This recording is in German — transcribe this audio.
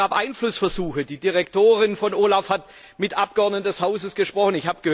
Doch es gab Einflussversuche Die Direktorin von OLAF hat mit Abgeordneten des Hauses gesprochen.